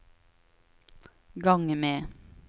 gang med